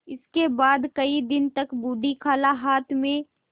इसके बाद कई दिन तक बूढ़ी खाला हाथ में